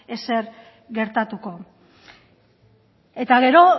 ezer gertatuko eta gero